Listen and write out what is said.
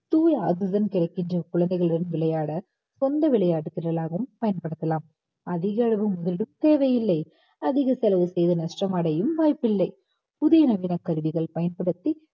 தூய oxygen கிடைக்கின்ற குழந்தைகளுடன் விளையாட சொந்த விளையாட்டு திடலாகவும் பயன்படுத்தலாம் அதிகளவு முதலீடும் தேவையில்லை அதிக செலவு செய்து நஷ்டம் அடையும் வாய்ப்பில்லை புதிய நவீன கருவிகள் பயன்படுத்தி